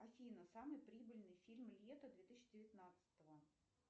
афина самый прибыльный фильм лета две тысячи девятнадцатого